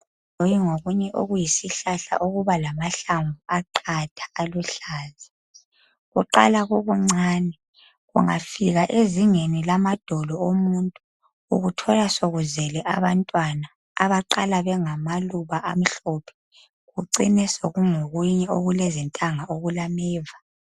Ngake ngabona okunye okuyisihlahla okulamahlamvu aqatha aluhlaza. Kuqala kukuncane kungafika ezingeni lamadolo omuntu ukuthola sokuzele abantwana abaqala bengama luba amhlophe kucine sokungo kunye okulentanga okulameva.